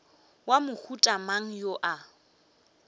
wa mohuta mang yo a